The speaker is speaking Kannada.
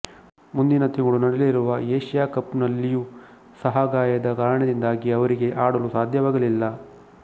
ಮುಂದಿನ ತಿಂಗಳು ನಡೆಯಲಿರುವ ಏಶಿಯಾ ಕಪ್ನಲ್ಲಿಯೂ ಸಹಾಗಾಯದ ಕಾರಣದಿಂದಾಗಿ ಅವರಿಗೆ ಆಡಲು ಸಾಧ್ಯವಾಗಲಿಲ್ಲ